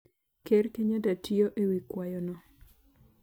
Ker Kenyatta tiyo ewi kwayo no